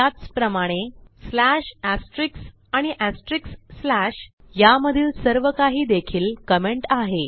त्याचप्रमाणे slash asterisk आणि asterisk slash या मधील सर्व काही देखील कमेंट आहे